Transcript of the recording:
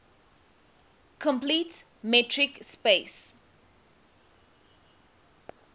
complete metric space